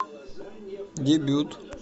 дебют